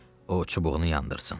O çubuğunu yandırsın.